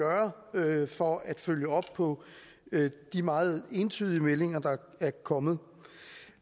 gøre for at følge op på de meget entydige meldinger der er kommet